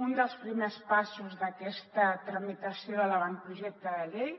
un dels primers passos d’aquesta tramitació de l’avantprojecte de llei